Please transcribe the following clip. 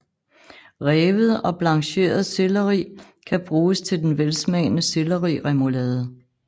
Revet og blancheret selleri kan bruges til den velsmagene selleriremoulade